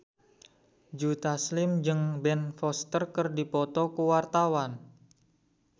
Joe Taslim jeung Ben Foster keur dipoto ku wartawan